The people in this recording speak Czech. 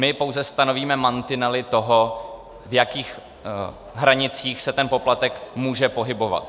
My pouze stanovíme mantinely toho, v jakých hranicích se ten poplatek může pohybovat.